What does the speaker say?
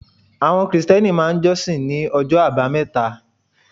Àwọn Kìrìsìtíẹ́nì máà ń jọ́ṣin ní ọjọ́ àbámẹ́ta